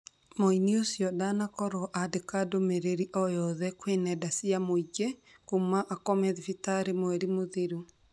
Mũini ũcio ndanakorwo andĩka ndũmĩrĩri oyothe gwĩ nenda cia mũingĩ kuma akome thibitari mweri mũthiru